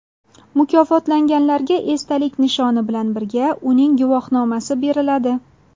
Mukofotlanganlarga esdalik nishoni bilan birga uning guvohnomasi beriladi.